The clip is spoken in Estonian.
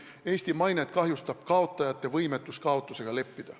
Eesti mainet kahjustab kaotajate võimetus kaotusega leppida.